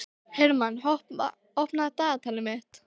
Hermann, opnaðu dagatalið mitt.